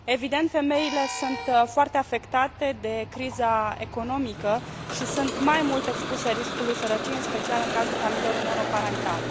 Evident, femeile sunt foarte afectate de criza economică și sunt mai mult expuse riscului sărăciei, în special în cazul familiilor monoparentale.